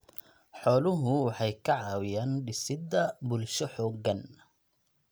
Xooluhu waxay ka caawiyaan dhisidda bulsho xooggan.